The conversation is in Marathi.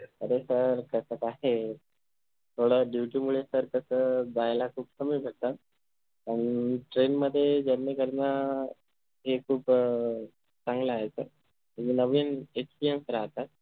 अरे sir कस काय थोडं Duty मुळे sir कस जायला खूप कमी भेटतआणि Train मध्ये Journey करण हे खूप अं चांगलं आहे sir नवीन Experience राहता